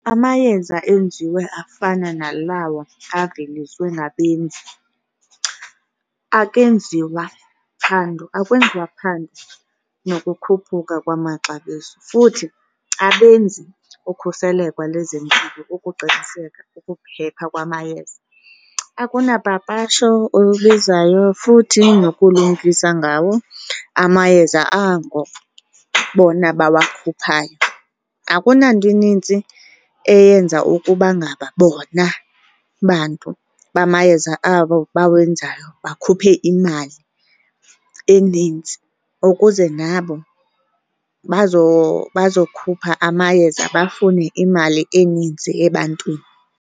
Amayeza enziwe afana nalawa aveliswa ngabenzi, akwenziwa phando, akwenziwa nokukhuphuka kwamaxabiso, futhi abenzi ukhuseleko lezempilo ukuqiniseka ukuphepha kwamayeza. Akunapapasho olubizwayo futhi nokulumkisa ngawo amayeza ango bona bawakhuphayo. Akuna nto inintsi eyenza ukuba ngaba bona bantu bamayeza abawenzayo bakhuphe imali eninzi ukuze nabo bazokhupha amayeza bafune imali eninzi ebantwini.